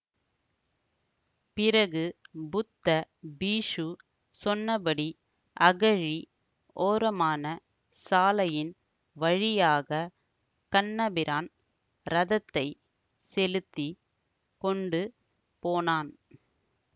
பிறகு புத்த பீக்ஷு சொன்னபடி அகழி ஓரமான சாலையின் வழியாக கண்ணபிரான் ரதத்தைச் செலுத்தி கொண்டு போனான்